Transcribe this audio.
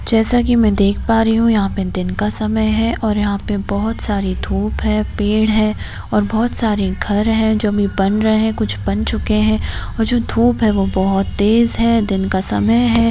जैसा की मैं देख पा रही हूँ यहां पे दिन का समय है और यहां पे बहुत सारी धूप है पेड़ हैं और बहुत सारे घर है जो अभी बन रहे हैं कुछ बन चुके हैं ओर जो धूप हैं वो बहुत तेज हैं दिन का समय है।